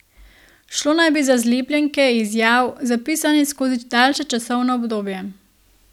Šlo naj bi za zlepljenke izjav, zapisanih skozi daljše časovno obdobje.